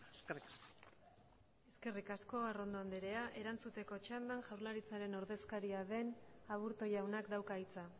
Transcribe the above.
eskerrik asko eskerrik asko arrondo andrea erantzuteko txandan jaurlaritzaren ordezkaria den aburto jaunak dauka hitza